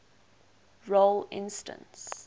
role instance